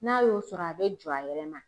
N'a y'o sɔrɔ a be jɔ a yɛrɛ ma